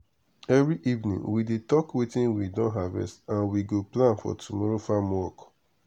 every evening we dey talk watin we don harvest and we go plan for tomorrow farm work.